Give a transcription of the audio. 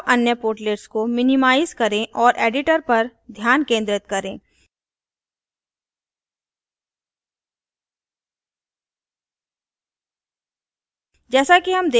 अब अन्य portlets को minimize करें और editor पर ध्यान केंद्रित करें